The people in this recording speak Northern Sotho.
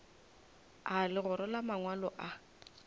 a legora la mangwalo a